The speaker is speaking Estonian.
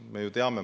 Me ju teame seda.